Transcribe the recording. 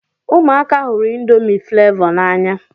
Ụmụaka hụrụ indomi flevo na-anya